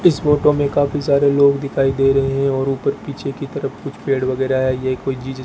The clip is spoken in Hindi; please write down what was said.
इस फोटो में काफी सारे लोग दिखाई दे रहे हैं और ऊपर पीछे की तरफ कुछ पेड़ वगैरह है ये कोई चीज--